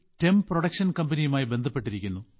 term production കമ്പനിയുമായി ബന്ധപ്പെട്ടിരിക്കുന്നു